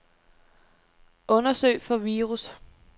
Undersøg for virus.